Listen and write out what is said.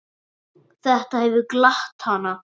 Þetta hefur glatt hana.